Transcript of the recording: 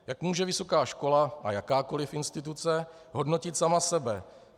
Jak může vysoká škola a jakákoliv instituce hodnotit sama sebe?